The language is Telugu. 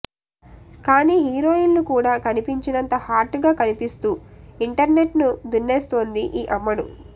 కానీ హీరోయిన్లు కూడా కనిపించనంత హాట్ గా కనిపిస్తూ ఇంటర్నెట్ ను దున్నేస్తోంది ఈ అమ్మడు